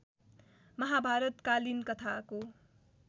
महाभारत कालीन कथाको